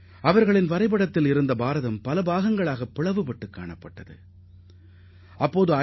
அந்த வரைபடத்தில் இந்தியா துண்டுதுண்டாக காட்சியளித்தது